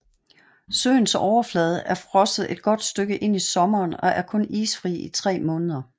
Søens overflade er frosset et godt stykke ind i sommeren og er kun isfri i tre måneder